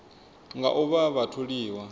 nga u vha vha tholiwa